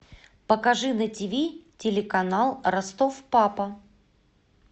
покажи на тиви телеканал ростов папа